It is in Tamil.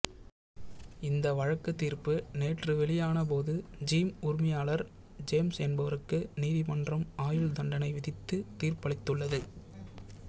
இந்த வழக்கு தீர்ப்பு நேற்று வெளியான போது ஜிம் உரிமையாளர் ஜேம்ஸ் என்பவருக்கு நீதிமன்றம் ஆயுள் தண்டனை விதித்து தீர்ப்பளித்துள்ளது